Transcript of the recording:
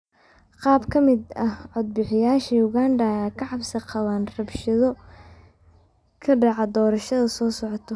Qaar badan oo ka mid ah codbixiyaasha Uganda ayaa ka cabsi qaba rabshado ka dhaca doorashada soo socota.